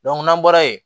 n'an bɔra yen